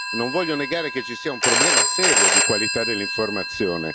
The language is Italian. Non voglio negare che ci sia un problema serio di qualità dell'informazione.